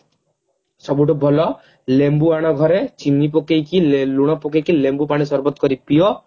ସବୁଠୁ ଭଲ ଲେମ୍ବୁ ଆଣ ଘରେ ଚିନି ପକେଇକି ଲେ ଲୁଣ ପକେଇକି ଲେମ୍ବୁ ପାଣି ସର୍ବତ କରିକି ପିଅ